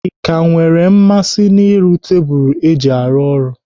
Ị ka nwere mmasị n'ịrụ tebụl iji arụ ọrụ?